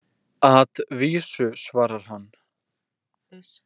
At vísu, svarar hann.